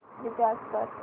recharge कर